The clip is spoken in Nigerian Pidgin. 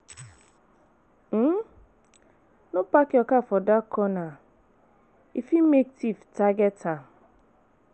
um No park your car for dark corner, e fit make tiff target am.